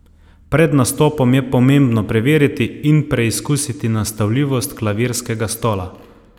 Pred nastopom je pomembno preveriti in preizkusiti nastavljivost klavirskega stola.